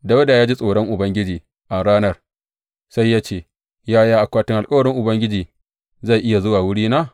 Dawuda ya ji tsoron Ubangiji a ranar, sai ya ce, Yaya akwatin alkawarin Ubangiji zai iya zuwa wurina?